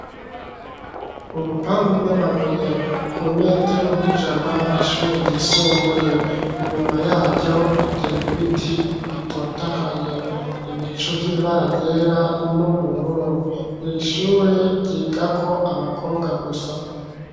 Urupangu rw'amabuye ku metero nk'ijana ishure ryisumbuye, inyuma yaryo hateye ibiti bitotahaye, ibicu vy'ibara ryera n'ubururu, iri shure ryigako abakobwa gusa.